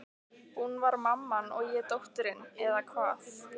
Hún var mamman og ég dóttirin, eða hvað?